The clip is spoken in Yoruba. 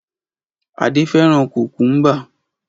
Adé fẹ́ràn kòkúḿbà.